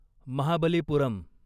Mahabalipuram